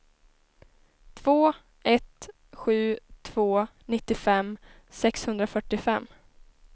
två ett sju två nittiofem sexhundrafyrtiofem